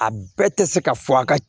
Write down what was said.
A bɛɛ tɛ se ka fɔ a ka